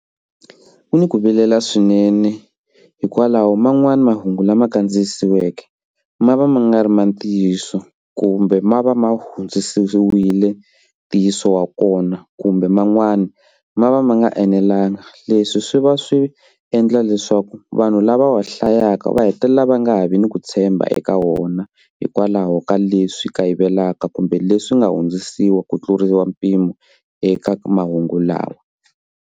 Ku ni ku vilela swinene hikwalaho man'wani mahungu lama kandziyisiweke ma va ma nga ri ma ntiyiso kumbe ma va ma hundziseriwile ntiyiso wa kona kumbe man'wana ma va ma nga enelangi leswi swi va swi endla leswaku vanhu lava wa hlayaka va hetelela va nga ha vi ni ku tshemba eka wona hikwalaho ka leswi kayivelaka kumbe leswi nga hundzisiwa ku tluriwa mpimo eka mahungu lawa.